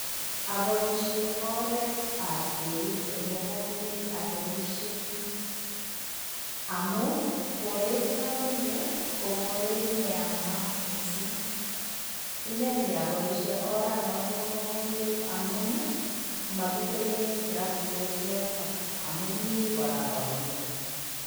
Aboishe oretab eut eng mugombet atemiseii amun koret namenye ko koreti neyamat mising, ineni aboishe oranata bo mugombet amun makitemee traktet yoto amun mi kora koik.